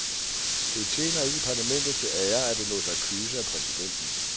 Det tjener ikke parlamentet til ære, at det lod sig kyse af præsidenten.